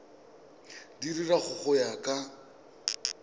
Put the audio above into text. di dira go ya ka